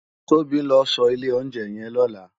Tobi n lò so ile òtín yen lálè